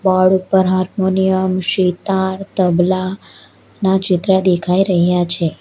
Board ઉપર harmonium sitar tabla ના ચિત્ર દેખાઈ રહ્યા છે.